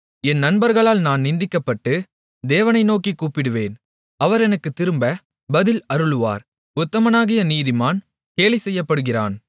என் நண்பர்களால் நான் நிந்திக்கப்பட்டு தேவனை நோக்கிக் கூப்பிடுவேன் அவர் எனக்குத் திரும்ப பதில் அருளுவார் உத்தமனாகிய நீதிமான் கேலிசெய்யப்படுகிறான்